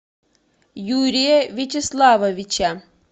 юрия вячеславовича